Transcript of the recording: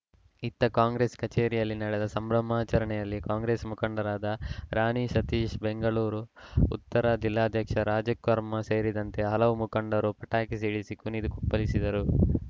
ಇತ್ತ ಕಾಂಗ್ರೆಸ್‌ ಕಚೇರಿಯಲ್ಲಿ ನಡೆದ ಸಂಭ್ರಮಾಚರಣೆಯಲ್ಲಿ ಕಾಂಗ್ರೆಸ್‌ ಮುಖಂಡರಾದ ರಾಣಿ ಸತೀಶ್‌ ಬೆಂಗಳೂರು ಉತ್ತರ ಜಿಲ್ಲಾಧ್ಯಕ್ಷ ರಾಜಕರ್ಮ ಸೇರಿದಂತೆ ಹಲವು ಮುಖಂಡರು ಪಟಾಕಿ ಸಿಡಿಸಿ ಕುಣಿದು ಕುಪ್ಪಳಿಸಿದರು